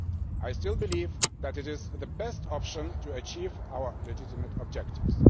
I still believe that it is the best option to achieve our legitimate objectives.